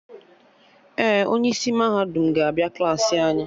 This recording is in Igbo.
Ee, onye isi mahadum ga-abịa Klassị anyị